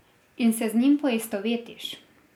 In se z njim poistovetiš.